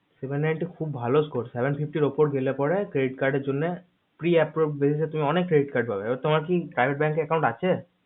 seven ninty খুব ভালো core seven fifty র উপরে গেলে পারে credit card এর জন্যে pre apporove basis এ তুমি অনেক credit পাবে তোমার কি private bank এ account আছে